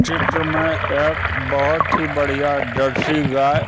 चित्र में एक बहुत ही बढ़िया देसी गाय--